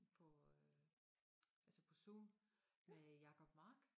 På øh altså på Zoom med Jacob Mark